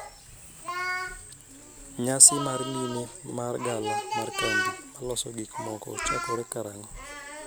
nyasi mar mine mar gala mar kambi maloso gik moko chakore kara ango'